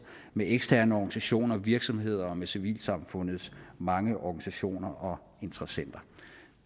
med eksterne organisationer virksomheder og med civilsamfundets mange organisationer og interessenter